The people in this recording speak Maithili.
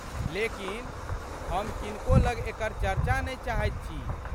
लेकिन, हम किनको लग एकर चर्चा नहि चाहैत छी।